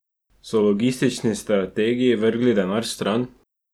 So logistični strategi vrgli denar stran?